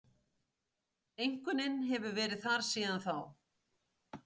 Einkunnin hefur verið þar síðan þá